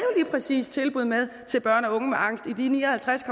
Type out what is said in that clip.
præcis tilbud med til børn og unge med angst i de ni og halvtreds